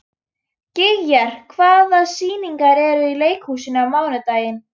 Gígjar, hvaða sýningar eru í leikhúsinu á mánudaginn?